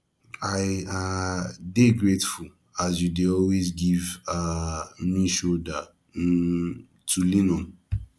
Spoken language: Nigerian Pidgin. i um dey grateful as you dey always give um me shoulder um to lean on